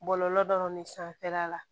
Bɔlɔlɔ dɔ de sanfɛla la